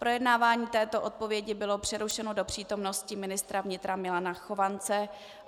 Projednávání této odpovědi bylo přerušeno do přítomnosti ministra vnitra Milana Chovance.